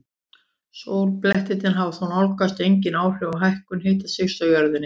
Sólblettirnir hafa þó nánast engin áhrif á hækkun hitastigs á jörðunni.